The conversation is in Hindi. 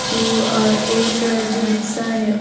जो अ एक जो रिक्शा है।